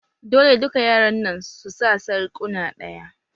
Dole duka yaran nan su sa sarƙuna ɗaya!